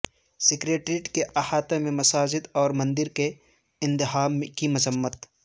secretariat کے احاطہ میں مساجد اور مندر کے انہدام کی مذمت